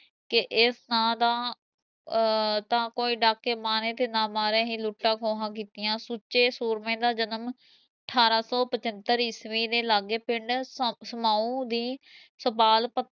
ਕਿ ਇਸ ਨਾ ਦਾ ਤਾਂ ਕੋਈ ਡਾਕੇ ਮਾਰੇ ਨਾ ਮਾਰੇ ਹੀ ਲੁੱਟਾਂ ਖੋਆ ਕੀਤੀਆ, ਸੁੱਚੇ ਸੂਰਮੇ ਦਾ ਜਨਮ ਠਾਰਾਂ ਸੋ ਪਚਤਰ ਈਸਵੀ ਦੇ ਲਾਗੇ ਪਿੰਡ ਸਤ ਸਮਾਓ ਦੀ, ਸੁਪਾਲ ਭਤੀ